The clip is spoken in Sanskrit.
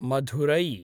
मधुरै